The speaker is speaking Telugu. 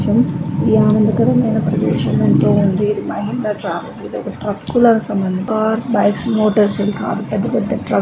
ఈ ఆనందకరమైనది ప్రదేశం ఇది పెద్ద ట్రాఫిక్ ట్రక్కుల సంబంధం సార్క్ బైక్స్ మోటార్స్ పెద్దపెద్ద టర్క్--